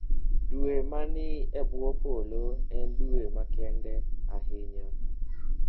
Dwe ma ni e bwo polo en dwe makende ahinya.